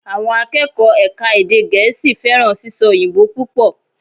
Àwọn akẹ́kọ̀ọ́ ẹ̀ka èdè gẹ̀ẹ́sì fẹ́ràn sísọ òyìnbó púpọ̀